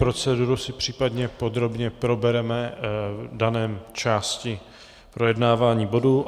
Proceduru si případně podrobně probereme v dané části projednávání bodů.